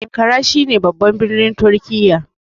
Ankara shine babban birnin turkiya